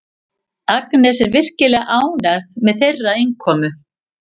Agnes er virkilega ánægð með þeirra innkomu.